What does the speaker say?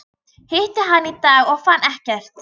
Hitti hann í dag og fann ekkert.